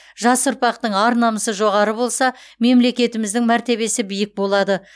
жас ұрпақтың ар намысы жоғары болса мемлекетіміздің мәртебесі биік болады